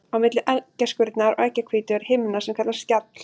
Á milli eggjaskurnar og eggjahvítu er himna sem kallast skjall.